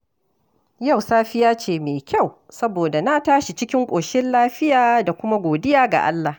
Yau safiya ce mai kyau, saboda na tashi cikin ƙoshin lafiya da kuma godiya ga Allah.